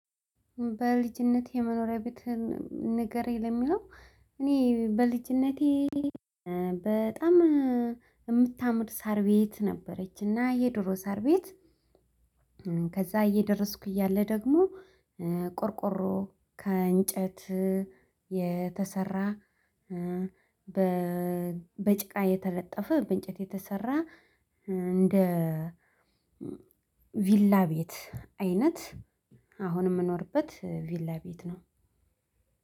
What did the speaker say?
በልጅነቴ የመኖሪያ ቤት ንገረኝ ለሚለው እኔ በልጅነቴ በጣም የምታምር ሳር ቤት ነበረች እና የድሮ ሳር ቤት። ከዛ እየደረስኩ እያለ ደግሞ ቆርቆሮ ከእንጨት የተሰራ። በጭቃ የተለጠፈ በእንጨት የተሰራ እንደ ቪላ ቤት አይነት። አሁን የምኖርበት ቪላ ቤት ነው።